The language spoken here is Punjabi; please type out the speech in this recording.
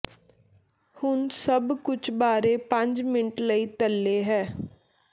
ਹੁਣ ਸਭ ਕੁਝ ਬਾਰੇ ਪੰਜ ਮਿੰਟ ਲਈ ਤਲੇ ਹੈ